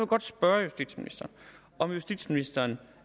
godt spørge justitsministeren om justitsministeren